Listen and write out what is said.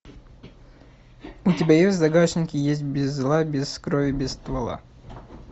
у тебя есть в загашнике есть без зла без крови без ствола